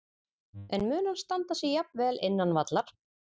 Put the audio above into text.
En mun hann standa sig jafn vel innan vallar?